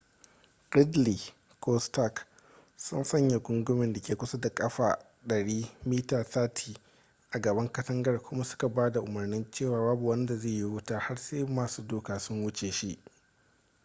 gridley ko stark sun sanya gungumen da ke kusa da ƙafa 100 mita 30 a gaban katangar kuma suka ba da umarnin cewa babu wanda zai yi wuta har sai masu doka sun wuce shi